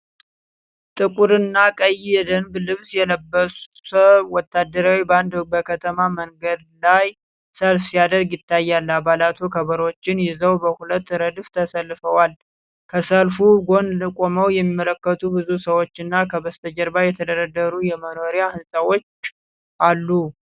ጥቁርና ቀይ የደንብ ልብስ የለበሰ ወታደራዊ ባንድ በከተማ መንገድ ላይ ሰልፍ ሲያደርግ ይታያል። አባላቱ ከበሮዎችን ይዘው በሁለት ረድፍ ተሰልፈዋል። ከሰልፉ ጎን ቆመው የሚመለከቱ ብዙ ሰዎችና ከበስተጀርባ የተደረደሩ የመኖሪያ ሕንፃዎች አሉ።